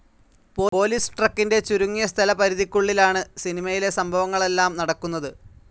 Police ട്രക്കിൻ്റെ ചുരുങ്ങിയ സ്ഥലപരിധിക്കുള്ളിലാണ് സിനിമയിലെ സംഭവങ്ങളെല്ലാം നടക്കുന്നത്.